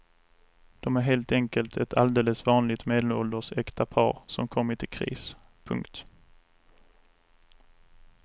De är helt enkelt ett alldeles vanligt medelålders äkta par som kommit i kris. punkt